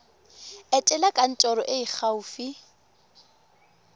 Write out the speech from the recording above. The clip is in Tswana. etela kantoro e e gaufi